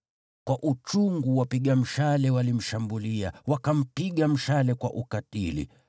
Kwa uchungu wapiga mshale walimshambulia, wakampiga mshale kwa ukatili.